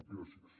gràcies